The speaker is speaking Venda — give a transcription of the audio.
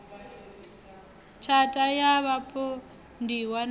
tshatha ya vhapondiwa na u